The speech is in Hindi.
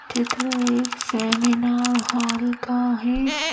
चित्र एक सेमिनार हॉल का हैं।